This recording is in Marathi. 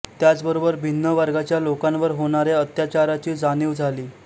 त्याचबरोबर भिन्न वर्गाच्या लोकांवर होणार्या अत्याचाराची जाणीव झाली